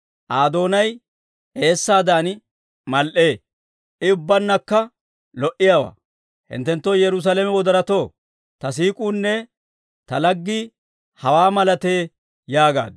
Aa doonay eessaadan mal"ee. I ubbaannakka lo"iyaawaa. Hinttenoo Yerusaalame wodoratoo, ta siik'uunne ta laggii hawaa malatee yaagaaddu.